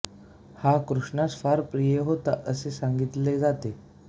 हा कृष्णास फार प्रिय होता असे सांगितले जाते